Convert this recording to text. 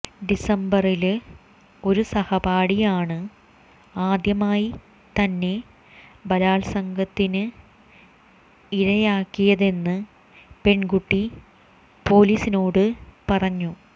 ഡിസംബറില് ഒരു സഹപാഠിയാണ് ആദ്യമായി തന്നെ ബലാല്സംഗത്തിനിരയാക്കിയതെന്ന് പെണ്കുട്ടി പോലീസിനോട് പറഞ്ഞു